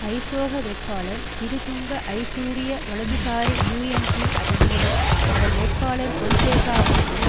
ஐசோக வேட்பாளர் சிறிதுங்க ஜயசூரிய வலதுசாரி யூஎன்பி அதன் மூலம் அதன் வேட்பாளர் பொன்சேகாவுக்கும்